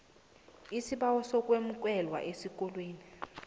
isibawo sokwemukelwa esikolweni